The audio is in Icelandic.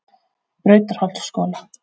Brautarholtsskóla